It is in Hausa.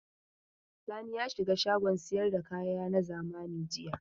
Sani ya shiga shagon sayar da kaya na zamani jiya.